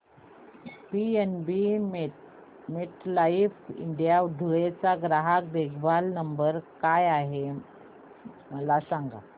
PNB MetLife India Dhule चा ग्राहक देखभाल नंबर काय आहे मला सांगा